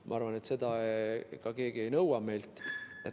Ma arvan, et seda keegi meilt ka ei nõua.